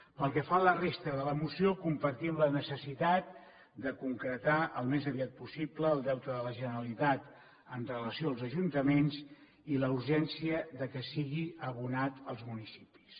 pel que fa a la resta de la moció compartim la necessitat de concretar al més aviat possible el deute de la generalitat amb relació als ajuntaments i la urgència que sigui abonat als municipis